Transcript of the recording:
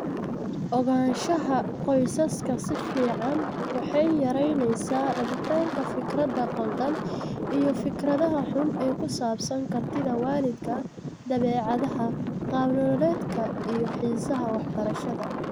Ogaanshaha qoysaska si fiican waxay yaraynaysaa rabitaanka fikradda khaldan iyo fikradaha xun ee ku saabsan kartida waalidka, dabeecadaha, qaab nololeedka iyo xiisaha waxbarashada.